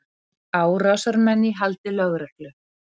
Árásarmenn í haldi lögreglu